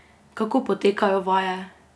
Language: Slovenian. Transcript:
Kako potekajo vaje?